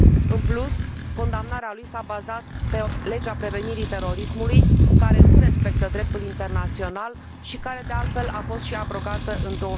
În plus, condamnarea lui s a bazat pe legea prevenirii terorismului, care nu respectă dreptul internațional și care de altfel a fost și abrogată în